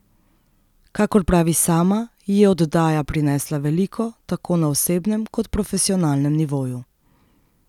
Kakor pravi sama, ji je oddaja prinesla veliko, tako na osebnem kot profesionalnem nivoju.